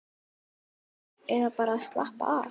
Eða bara að slappa af.